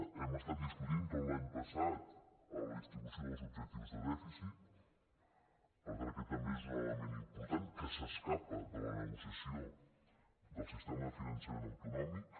hem estat discutint tot l’any passat la distribució dels objectius de dèficit per tant aquest també és un element important que s’escapa de la negociació del sistema de finançament autonòmic